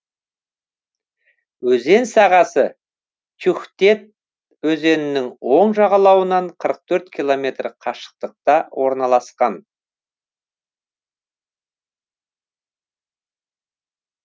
өзен сағасы тюхтет өзенінің оң жағалауынан қырық төрт километр қашықтықта орналасқан